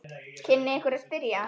kynni einhver að spyrja.